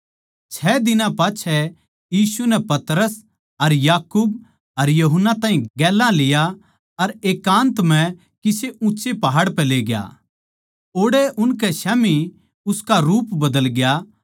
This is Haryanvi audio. छ दिनां पाच्छै यीशु नै पतरस अर याकूब अर यूहन्ना ताहीं गेल्या लिया अर एकान्त म्ह किसे ऊँच्चे पहाड़ पै लेग्या ओड़ै उनकै स्याम्ही उसका रूप बदल ग्या